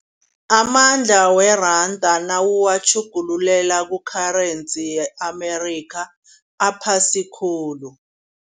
Amandla weranda nawuwatjhugululela ku-currency ye-America aphasi khulu.